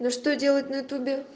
ну что делать на ю тубе